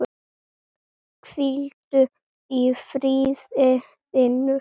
Hvíldu í friði, vinur.